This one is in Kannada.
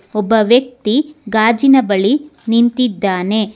ಒಬ್ಬ ವ್ಯಕ್ತಿ ಗಾಜಿನ ಬಳಿ ನಿಂತಿದ್ದಾನೆ.